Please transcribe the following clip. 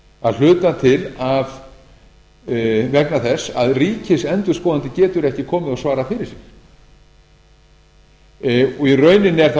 að hluta til vegna þess að ríkisendurskoðandi getur ekki komið og svarað fyrir sig í rauninni er það